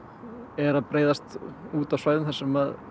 er að breiðast út á svæðum þar sem